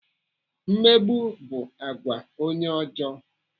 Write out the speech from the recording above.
Mmegbu bụ àgwà onye ọjọọ.